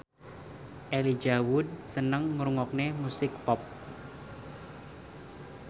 Elijah Wood seneng ngrungokne musik pop